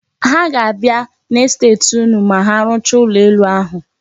Ha ga-abịa n'estet unu ma arụchaa ụlọ elu ahụ.